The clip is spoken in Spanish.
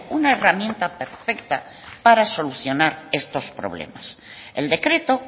una herramienta perfecta para solucionar estos problemas el decreto